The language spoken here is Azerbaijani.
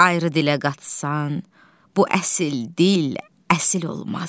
Ayrı dilə qatsan, bu əsil dil əsil olmaz.